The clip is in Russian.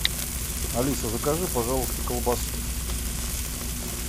алиса закажи пожалуйста колбасу